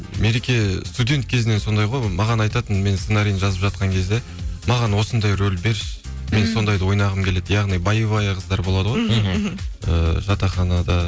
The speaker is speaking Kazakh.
мереке студент кезінен сондай ғой маған айтатын мен сценарийін жазып жатқан кезде маған осындай рөл берші мен сондайды ойнағым келеді яғни боевая қыздар болады ғой мхм мхм ііі жатақхнада